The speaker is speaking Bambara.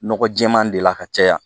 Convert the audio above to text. Nɔgɔ jɛɛman de la ka caya